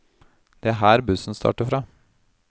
Det er her bussen starter fra.